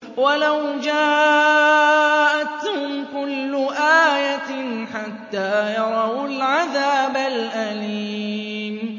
وَلَوْ جَاءَتْهُمْ كُلُّ آيَةٍ حَتَّىٰ يَرَوُا الْعَذَابَ الْأَلِيمَ